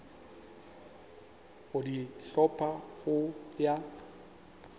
go di hlopha go ya